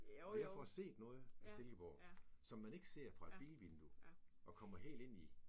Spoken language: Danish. Og jeg får set noget af Silkeborg. Som man ikke ser fra et bilvindue og kommer helt ind i